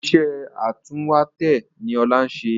Iṣẹ́ atúnwèétẹ̀ ni Ọlá ń ṣe